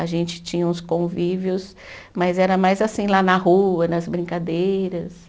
A gente tinha uns convívios, mas era mais assim, lá na rua, nas brincadeiras.